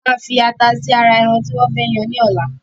Wọn máa fi ata sì ara ẹran tí wọn fẹ yàn ni ọ̀la